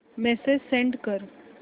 message send कर